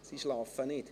Sie schlafen nicht.